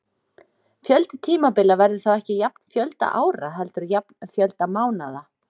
Fjöldi tímabila verður þá ekki jafn fjölda ára heldur jafn fjölda mánaða.